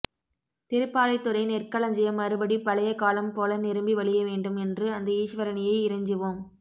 திருப்பாலைத்துறை நெற்களஞ்சியம் மறுபடி பழைய காலம் போல நிரம்பி வழியவேண்டும் என்று அந்த ஈஸ்வரனையே இறைஞ்சுவோம்